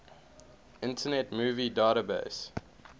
internet movie database